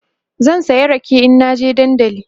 zan saya rake in na je dandali